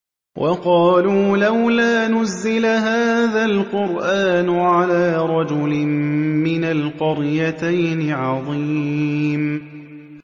وَقَالُوا لَوْلَا نُزِّلَ هَٰذَا الْقُرْآنُ عَلَىٰ رَجُلٍ مِّنَ الْقَرْيَتَيْنِ عَظِيمٍ